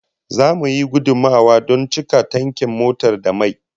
Zamu yi gudummawa don cika tankin motar da mai